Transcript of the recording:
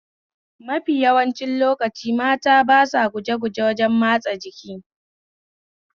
Mafi yawancin lokaci mata ba sa gujeguje wajen matsa jiki